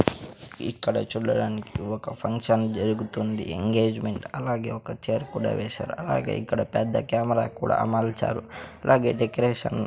ఇక్కడ చూడడానికి ఒక ఫంక్షన్ జరుగుతోంది ఎంగేజ్మెంట్ అలాగే ఒక చైర్ కూడా వేశారు అలాగే ఇక్కడ పెద్ద కెమెరా కూడా అమర్చారు అలాగే డెకరేషన్ .